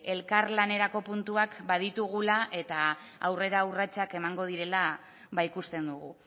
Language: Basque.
elkarlanerako puntuak baditugula eta aurrera urratsak emango direla ikusten dugu